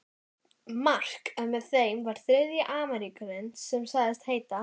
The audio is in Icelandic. Mark en með þeim var þriðji Ameríkaninn sem sagðist heita